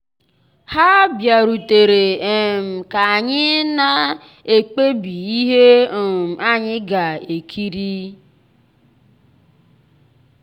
nlétà ya tụ̀rù n'ányá mèrè kà mgbede ànyị́ dị́ jụ́ụ́ ghọ́ọ́ nnọ́kọ́ kàráòké na mbèredè.